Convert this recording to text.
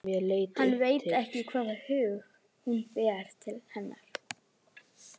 Hann veit því ekki hvaða hug hún ber til hennar.